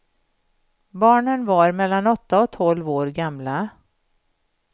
Barnen var mellan åtta och tolv år gamla.